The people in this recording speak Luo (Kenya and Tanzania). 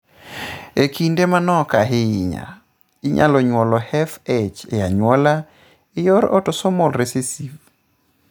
E kinde manok ahinya, inyalo nyuol FH e anyuola e yor autosomal recessive.